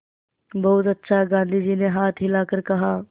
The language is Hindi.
बहुत अच्छा गाँधी जी ने हाथ हिलाकर कहा